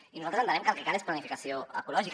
i nosaltres entenem que el que cal és planificació ecològica